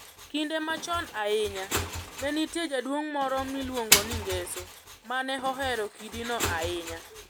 Kinde machon ahinya, ne nitie jaduong' moro miluongo ni Ngeso ma ne ohero kidino ahinya.